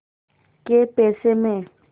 कै पैसे में